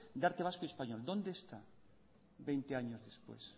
de arte vasco y español dónde está veinte años después